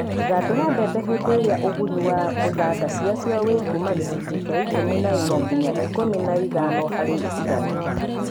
Thandũra mbembe hĩndĩ ĩrĩa ũgunyu wa thanda ciacio wĩ kuma gĩcũnjĩ gĩa ikũmi na inya nginya ikũmi na ithano harĩ igana